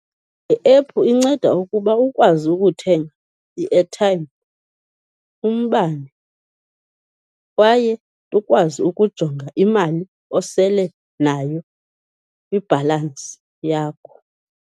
Iephu inceda ukuba ukwazi ukuthenga i-airtime, umbane kwaye ukwazi ukujonga imali osele nayo, ibhalansi yakho.